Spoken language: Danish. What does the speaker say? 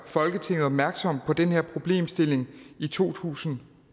folketinget opmærksom på den her problemstilling i to tusind